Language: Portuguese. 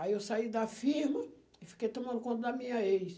Aí eu saí da firma e fiquei tomando conta da minha ex.